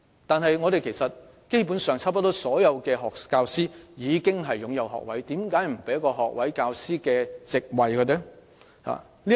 但基本上，幾乎所有教師均擁有學位，為何不能為他們提供學位教師的教席呢？